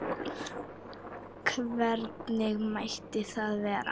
Hvernig mætti það vera?